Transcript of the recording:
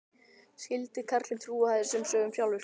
Skyldi karlinn trúa þessum sögum sjálfur?